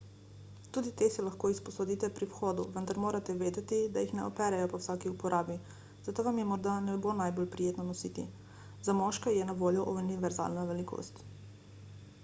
tudi te si lahko izposodite pri vhodu vendar morate vedeti da jih ne operejo po vsaki uporabi zato vam jih morda ne bo najbolj prijetno nositi za moške je na voljo univerzalna velikost